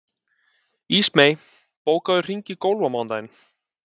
Ísmey, bókaðu hring í golf á mánudaginn.